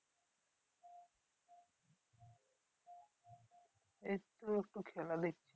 এইতো একটু খেলা দেখছি।